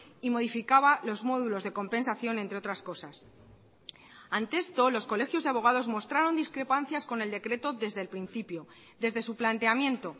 y modificaba los módulos de compensación entre otras cosas ante esto los colegios de abogados mostraron discrepancias con el decreto desde el principio desde su planteamiento